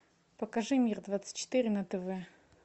покажи мир двадцать четыре на тв